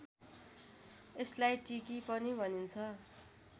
यसलाई टिकी पनि भनिन्छ